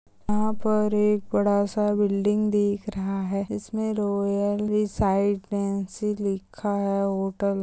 यहाँ पर एक बड़ा सा बिल्डिंग दिख रहा है। जिसमें रॉयल लिखा है होटल --